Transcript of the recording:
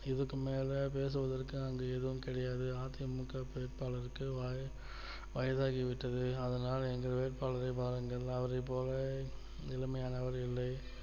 இதுக்கு மேல பேசுவதற்க்கு அங்க எதுவும் கிடையாது அ தி மு க வேட்பாளருக்கு வய வயதாகிவிட்டது அதனால் எங்கள் வேட்பாளரை பாருங்கள் அவரைபோல இளமையானவர் இல்லை